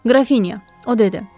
Qrafinya, o dedi.